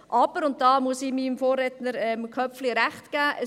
Aber, und da muss ich meinem Vorredner, Grossrat Köpfli, Recht geben: